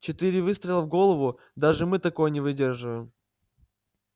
четыре выстрела в голову даже мы такое не выдерживаем